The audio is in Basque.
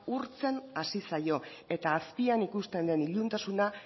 urtzen hasi zaio eta azpian ikusten den iluntasuna